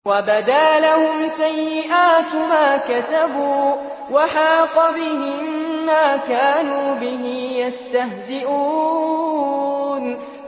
وَبَدَا لَهُمْ سَيِّئَاتُ مَا كَسَبُوا وَحَاقَ بِهِم مَّا كَانُوا بِهِ يَسْتَهْزِئُونَ